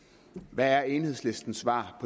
hvad er enhedslistens svar